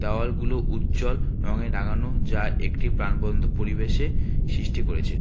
হলগুলো উজ্জ্বল রঙে রাঙানো যা একটি প্রাণবন্ত পরিবেশে সৃষ্টি করেছে।